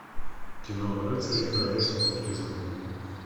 кино рыцари королевства крутизны